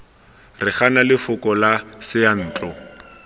re gana lefoko la seyantlo